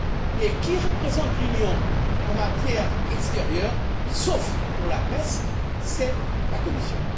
Mais qui représente l'Union en matière extérieure, sauf pour la PESC? C'est la Commission.